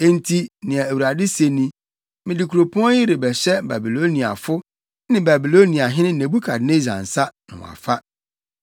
Enti nea Awurade se ni: Mede kuropɔn yi rebɛhyɛ Babiloniafo ne Babiloniahene Nebukadnessar nsa, na wɔafa.